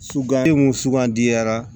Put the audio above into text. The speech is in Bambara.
Sugandi sugandira